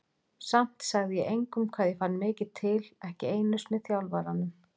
Samt sagði ég engum hvað ég fann mikið til, ekki einu sinni þjálfaranum.